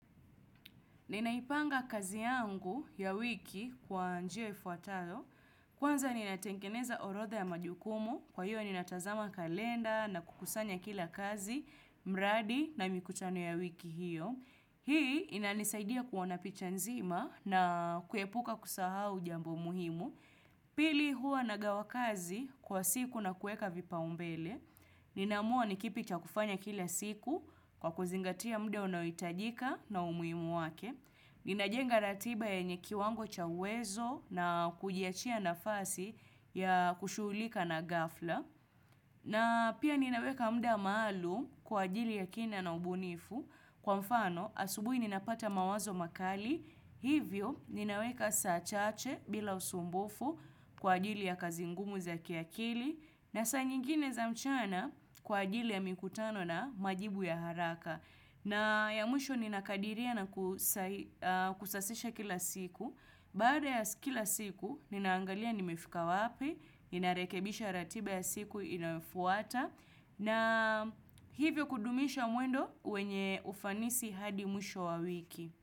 Ninaipanga kazi yangu ya wiki kwa njia ifuatayo. Kwanza ninatengeneza orodha ya majukumu. Kwa hiyo ninatazama kalenda na kukusanya kila kazi, mradi na mikutano ya wiki hiyo. Hii inanisaidia kuona picha nzima na kuepuka kusahau jambo muhimu. Pili hua nagawa kazi kwa siku na kuweka vipaumbele. Ninaamua nikipi cha kufanya kila siku kwa kuzingatia muda unaoitajika na umuhimu wake. Ninajenga ratiba yenye kiwango cha uwezo na kujiachia nafasi ya kushughulika na ghafla. Na pia ninaweka muda maalum kwa ajili ya kina na ubunifu kwa mfano asubuhi ninapata mawazo makali. Hivyo ninaweka saa chache bila usumbufu kwa ajili ya kazi ngumu za kiakili. Na saa nyingine za mchana kwa ajili ya mikutano na majibu ya haraka. Na ya mwisho ninakadiria na kusasisha kila siku, baada ya kila siku ninaangalia nimefika wapi, ninarekebisha ratiba ya siku inayofuata, na hivyo kudumisha mwendo wenye ufanisi hadi mwisho wa wiki.